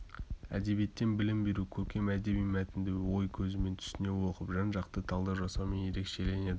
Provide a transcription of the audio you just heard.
әдебиеттен білім беру көркем әдеби мәтінді ой көзімен түсіне оқып жан-жақты талдау жасаумен ерекшеленеді